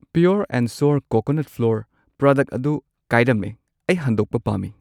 Pure and sure coconut flour product ꯑꯗꯨ ꯀꯥꯏꯔꯝꯃꯦ, ꯑꯩ ꯍꯟꯗꯣꯛꯄ ꯄꯥꯝꯃꯤ꯫